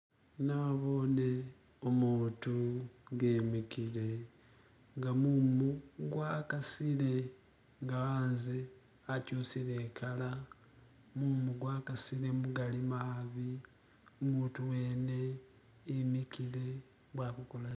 Nabone umutu nga emikile nga mumu gwakasile nga hanze hachusile ikala mumu gwakasile mugali mavi umutu wene imikile mbo ali kukolachina